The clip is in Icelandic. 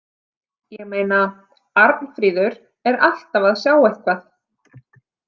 ég meina, Arnfríður er alltaf að sjá eitthvað.